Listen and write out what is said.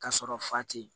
Ka sɔrɔ fa tɛ yen